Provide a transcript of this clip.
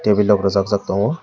ui labora jak jak tongo.